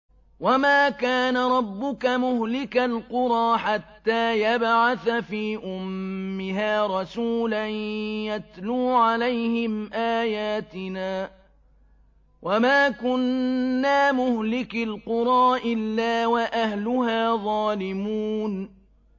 وَمَا كَانَ رَبُّكَ مُهْلِكَ الْقُرَىٰ حَتَّىٰ يَبْعَثَ فِي أُمِّهَا رَسُولًا يَتْلُو عَلَيْهِمْ آيَاتِنَا ۚ وَمَا كُنَّا مُهْلِكِي الْقُرَىٰ إِلَّا وَأَهْلُهَا ظَالِمُونَ